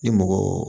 Ni mɔgɔ